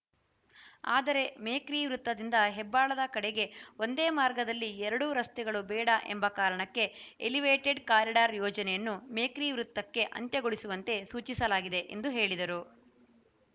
ಆದರೆ ಮೇಕ್ರಿ ವೃತ್ತದಿಂದ ಹೆಬ್ಬಾಳದ ಕಡೆಗೆ ಒಂದೇ ಮಾರ್ಗದಲ್ಲಿ ಎರಡೂ ರಸ್ತೆಗಳು ಬೇಡ ಎಂಬ ಕಾರಣಕ್ಕೆ ಎಲಿವೇಟೆಡ್‌ ಕಾರಿಡಾರ್‌ ಯೋಜನೆಯನ್ನು ಮೇಕ್ರಿ ವೃತ್ತಕ್ಕೆ ಅಂತ್ಯಗೊಳಿಸುವಂತೆ ಸೂಚಿಸಲಾಗಿದೆ ಎಂದು ಹೇಳಿದರು